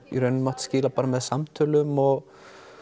mátt skila með samtölum og